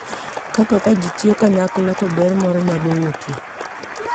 Kaka ka ji tiyo kanyakla to ber moro nyalo wuokye.